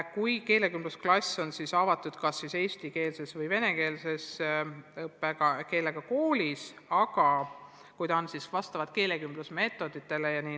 Selline keelekümblusklass on avatud kas eesti- või venekeelse õppekeelega koolis ja õpetaja peab kasutama keelekümblusmeetodeid.